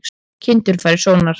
Kindur fara í sónar